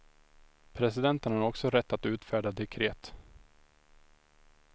Presidenten har också rätt att utfärda dekret.